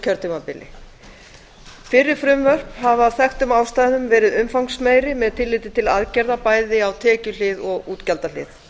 kjörtímabili fyrri frumvörp hafa af þekktum ástæðum verið umfangsmeiri með tilliti til aðgerða bæði á tekjuhlið og útgjaldahlið